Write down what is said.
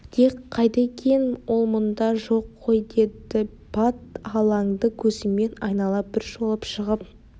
дик қайда екен ол мұнда жоқ қой деді бат алаңды көзімен айнала бір шолып шығып